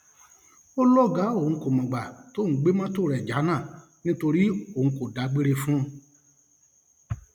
ó lọgàá òun kò mọgbà tóun gbé mọtò rẹ jánà nítorí òun kò dágbére fún un